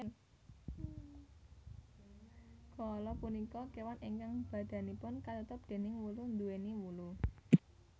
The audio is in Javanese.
Koala punika kéwan ingkang badanipun katutup déning wulu nduwèni wulu